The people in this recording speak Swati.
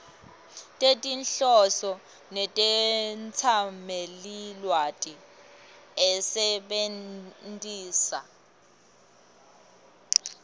tetinhloso netetsamelilwati asebentisa